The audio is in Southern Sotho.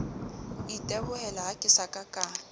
itebohelaha ke sa ka ka